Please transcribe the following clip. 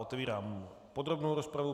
Otevírám podrobnou rozpravu.